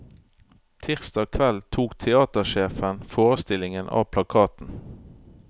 Tirsdag kveld tok teatersjefen forestillingen av plakaten.